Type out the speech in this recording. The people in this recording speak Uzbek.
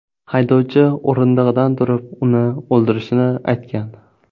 Haydovchi o‘rindig‘idan turib, uni o‘ldirishini aytgan.